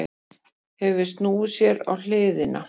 Hefur snúið sér á hliðina.